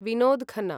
Vinod Khanna